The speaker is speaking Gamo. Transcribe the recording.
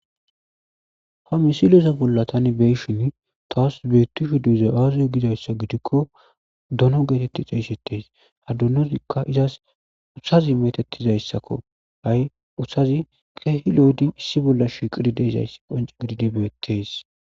Hamisilosa bolla tani beyshin taas beetushu duze aaziyo gizayssa gidikko dono geetetti xeeyssetes hadunozikka izaas uthazi metettizayssakko ay uthazi keehi lo'ydi issi bolla shiqididesayss qonce gididibeeteys.